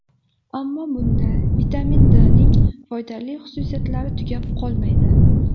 Ammo bunda vitamin D ning foydali xususiyatlari tugab qolmaydi.